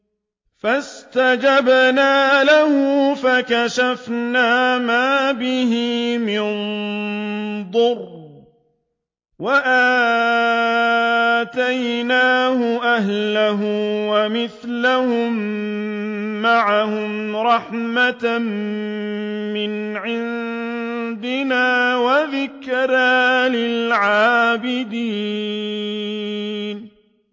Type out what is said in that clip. فَاسْتَجَبْنَا لَهُ فَكَشَفْنَا مَا بِهِ مِن ضُرٍّ ۖ وَآتَيْنَاهُ أَهْلَهُ وَمِثْلَهُم مَّعَهُمْ رَحْمَةً مِّنْ عِندِنَا وَذِكْرَىٰ لِلْعَابِدِينَ